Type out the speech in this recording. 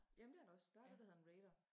Jamen det er der også der er det der hedder en rider